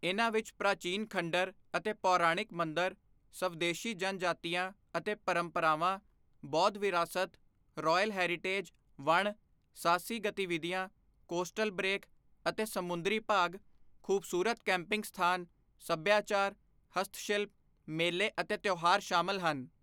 ਇਨ੍ਹਾਂ ਵਿੱਚ ਪ੍ਰਾਚੀਨ ਖੰਡਰ ਅਤੇ ਪੌਰਾਣਿਕ ਮੰਦਰ, ਸਵਦੇਸ਼ੀ ਜਨਜਾਤੀਆਂ ਅਤੇ ਪਰੰਪਰਾਵਾਂ, ਬੌਧ ਵਿਰਾਸਤ, ਰੌਇਲ ਹੈਰੀਟੇਜ, ਵਣ, ਸਾਹਸੀ ਗਤੀਵਿਧੀਆਂ, ਕੋਸਟਲ ਬਰੇਕ ਅਤੇ ਸਮੁੰਦਰੀ ਭਾਗ, ਖੂਬਸੂਰਤ ਕੈਂਪਿੰਗ ਸਥਾਨ, ਸੱਭਿਆਚਾਰ, ਹਸਤਸ਼ਿਲਪ, ਮੇਲੇ ਅਤੇ ਤਿਓਹਾਰ ਸ਼ਾਮਲ ਹਨ।